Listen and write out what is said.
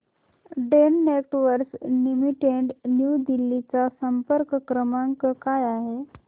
Den Networks Limited New Delhi चा संपर्क क्रमांक काय आहे